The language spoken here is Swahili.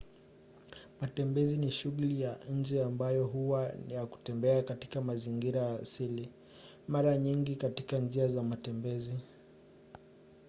matembezi ni shughuli ya nje ambayo huwa na kutembea katika mazingira asili mara nyingi katika njia za matembezi